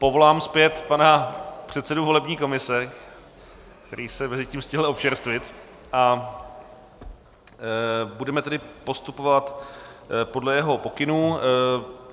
Povolám zpět pana předsedu volební komise, který se mezitím stihl občerstvit, a budeme tedy postupovat podle jeho pokynů.